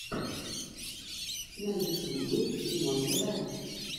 на ютубе димонтв